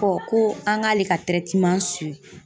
ko an k'ale ka